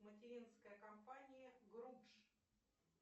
материнская компания групш